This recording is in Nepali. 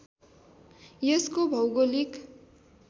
यसको भौगोलिक